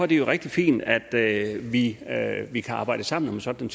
det rigtig fint at vi at vi kan arbejde sammen om sådan